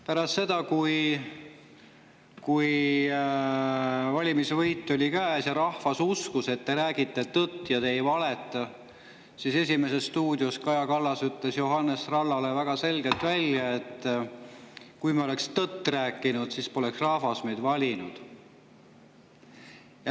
Pärast seda, kui valimisvõit oli käes ja rahvas uskus, et te räägite tõtt ja te ei valeta, ütles Kaja Kallas "Esimeses stuudios" Johannes Trallale väga selgelt välja: "Kui me oleksime tõtt rääkinud, siis poleks rahvas meid valinud.